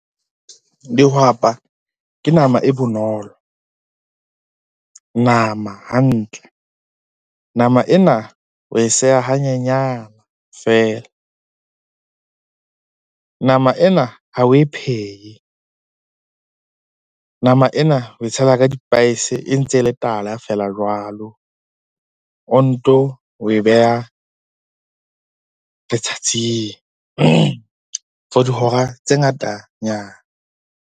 Dihwapa ke nama e bonolo, nama hantle. Nama ena wa e seha hanyenyana feela, nama ena ha oe phehe, nama ena oe tshela ka di-spice e ntse e le tala feela jwalo. O nto ho e beha letsatsing for dihora tse ngata nyana.